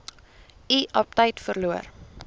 u aptyt verloor